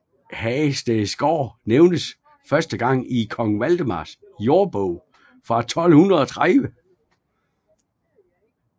Hagestedgaard nævnes første gang i kong Valdemars jordbog fra 1230